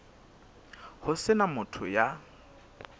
ho se na motho ya